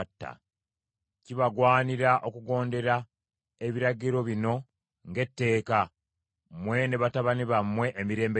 “Kibagwanira okugondera ebiragiro bino ng’etteeka, mmwe ne batabani bammwe emirembe gyonna.